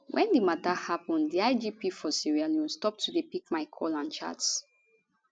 wen di mata happun di igp for sierra leone stop to dey pick my call and chats